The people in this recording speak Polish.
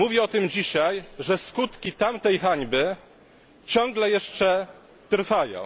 Mówię o tym dzisiaj, bo skutki tamtej hańby ciągle jeszcze trwają.